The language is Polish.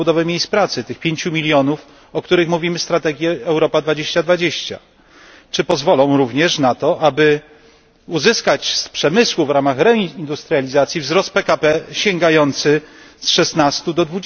na odbudowę miejsc pracy tych 5 mln, o których mówimy w strategii Europa 2020? Czy pozwolą również na to, aby uzyskać z przemysłu, w ramach reindustrializacji, wzrost PKB sięgający z 16 do